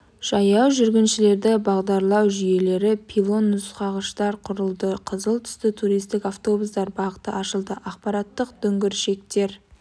жаяу жүргіншілерді бағдарлау жүйелері пилон нұсқағыштар құрылды қызыл түсті туристік автобустар бағыты ашылды ақпараттық дүңгіршектер